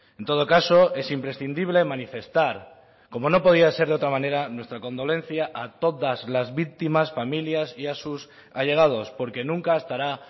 en todo caso es imprescindible manifestar como no podía ser de otra manera nuestra condolencia a todas las víctimas familias y a sus allegados porque nunca estará